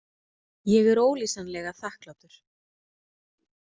Ég er ólýsanlega þakklátur.